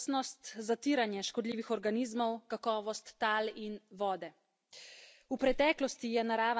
V preteklosti je narava sama poskrbela za opraševalce, zdaj pa moramo zanje poskrbeti sami.